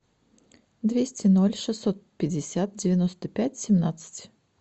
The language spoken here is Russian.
двести ноль шестьсот пятьдесят девяносто пять семнадцать